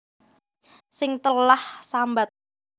Sing telah sambat